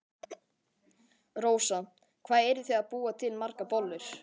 Rósa: Hvað eruð þið að búa til margar bollur?